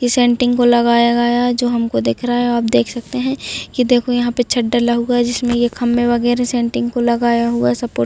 कि सेन्टिंग को लगाया गया है जो हमको दिख रहा है आप देख सकते है की देखो यहाँ पे छत ढला हुआ है जिसमे ये खम्भे वगेरा सेन्टिंग को लगाया हुआ है सपोर्ट --